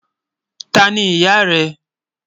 Táni iyá rẹ?